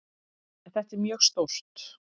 En þetta er mjög stórt.